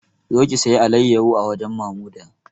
Zo ki sayi alayyaho a wajen Mamuda!